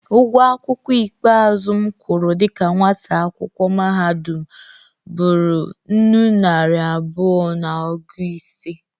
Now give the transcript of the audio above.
Ụgwọ akwụkwọ ikpe azụ m kwụrụ dịka nwata akwụkwọ mahadụm bụrụ nnụ naịra abụọ na ọgụ ise.